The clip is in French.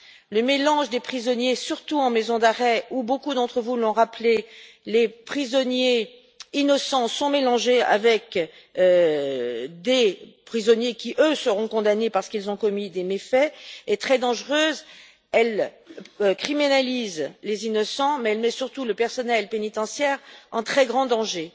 Le mélange des prisonniers, surtout en maison d'arrêt, où, comme beaucoup d'entre vous l'ont rappelé, les prisonniers innocents sont mélangés avec des prisonniers qui, eux, seront condamnés parce qu'ils ont commis des méfaits, est très dangereux. Ce système criminalise les innocents, mais surtout, il met le personnel pénitentiaire en très grand danger.